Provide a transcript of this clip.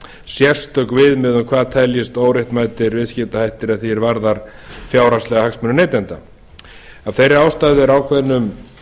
sérstök viðmið um hvað teljist óréttmætir viðskiptahættir að því er varðar fjárhagslega hagsmuni neytenda af þeirri ástæðu er ákveðnum